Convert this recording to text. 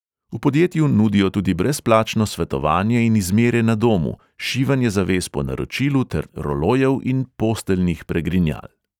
V podjetju nudijo tudi brezplačno svetovanje in izmere na domu, šivanje zaves po naročilu ter rolojev in posteljnih pregrinjal.